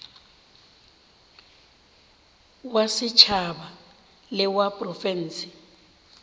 wa setšhaba le wa profense